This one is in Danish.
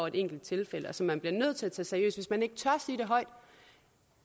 et enkelt tilfælde og som man bliver nødt til at tage seriøst hvis man ikke tør sige det højt